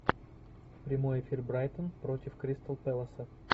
прямой эфир брайтон против кристал пэласа